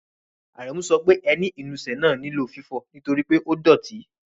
Árẹ̀mú sọ pé ẹ̀nì-ìnúsẹ̀ náà ní lọ̀ fífọ̀̀ ntorípẹ̀ o dọ́tì.